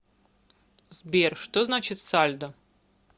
сбер что значит сальдо